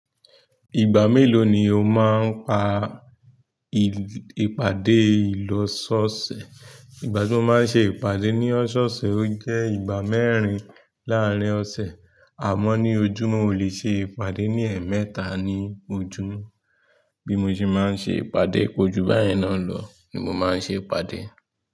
Ìgbà mélòó ni o máa ń pa ìpàdé ìlọsọ̀ọ̀sẹ̀? Ìgbà tí mo máa ń ṣe ìpàdé ní ọ̀soọ̀sẹ̀, ó jẹ́ ìgbà mẹ́rin láàárín ọ̀sẹ̀, àmọ́ ní ojúmọ́, ó lè ṣe ìpàdé ní ẹ̀ẹ̀mẹ́ta ní ojúmọ́. Bí mo ṣe máa ń ṣe ìpàdé, ko ju báyìí náà lọ ni mo máa ń ṣe ìpàdé.